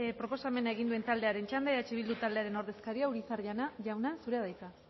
proposamena egin duen taldearen txanda eh bildu taldearen ordezkaria urizar jauna zurea da hitza